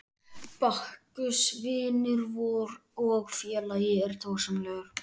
Bakkus vinur vor og félagi er dásamlegur.